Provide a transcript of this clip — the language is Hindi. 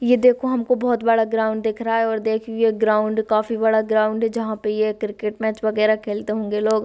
यह देखो हमको बहुत बड़ा ग्राउंड दिख रहा है और देखिये ग्राउंड काफी बड़ा ग्राउंड है जहाँ पर ये क्रिकेट मैच वगेरा खेलते होंगे लोग --